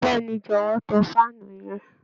Bẹẹni, jọ̀wọ́ tán faanu yẹn